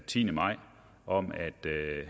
tiende maj om at